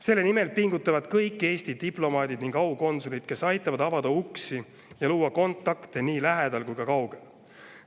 Selle nimel pingutavad kõik Eesti diplomaadid ning aukonsulid, kes aitavad avada uksi ja luua kontakte nii lähedal kui ka kaugel.